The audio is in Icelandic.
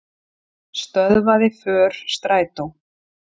Stöðvaði för strætó